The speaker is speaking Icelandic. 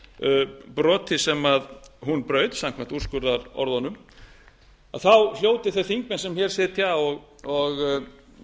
þessu broti sem hún braut samkvæmt úrskurðarorðunum hljóti þeir þingmenn sem hér sitja og